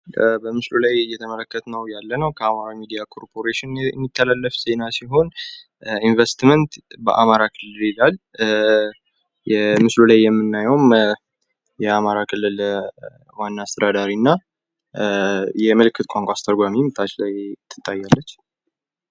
በምስሉ ላይ እየተመለከትነው ያለነው ከአማራ ሚዲያ ኮርፖሬሽን የሚተላለፍ ዜና ሲሆን ኢንቨስትመንት በአማራ ክልል ይላል። ምስሉ ላይ የምናዬውም የአማራ ክልል ዋና አስተዳዳሪና የምልክት ቋንቋ አስተርጓሚም ታች ላይ ትታያለች።